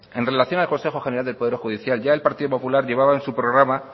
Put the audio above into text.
en relación al consejo general del poder judicial ya el partido popular llevaban en su programa